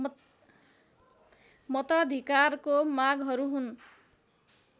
मताधिकारको मागहरू हुन